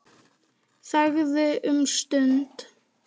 Þagði um stund.